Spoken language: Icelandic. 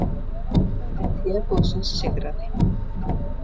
Frambjóðandi Teboðsins sigraði